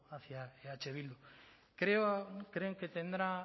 hacía eh bildu creen que tendrá